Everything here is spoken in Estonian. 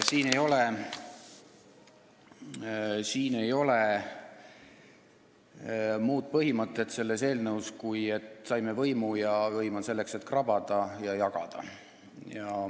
Siin eelnõus ei ole muud põhimõtet, kui et saime võimu ja võim on selleks, et krabada ja jagada.